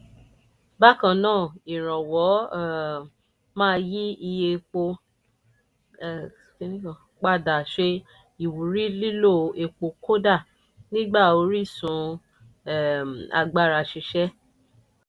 bákan náà ìrànwọ́ um máa yí iye epo padà ṣe ìwúrí lílo epo kódà nígbà orísun um agbára ṣiṣẹ́.